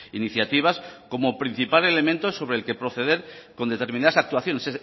iniciativas como principal elemento sobre el que proceder con determinadas actuaciones